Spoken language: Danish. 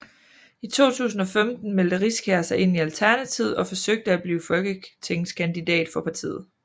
I 2015 meldte Riskær sig ind i Alternativet og forsøgte at blive folketingskandidat for partiet